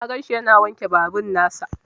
Na ganshi yana wanke babur nasa.